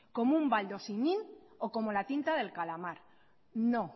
como un baldosinin o como la tinta del calamar no